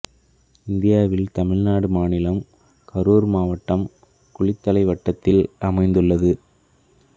இந்தியாவில் தமிழ்நாடு மாநிலம் கரூர் மாவட்டம் குளித்தலை வட்டத்தில் அமைந்துள்ளது